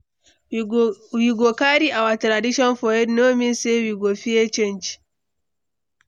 We go carry our tradition for head no mean say we go fear change.